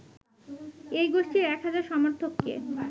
এই গোষ্ঠীর এক হাজার সমর্থককে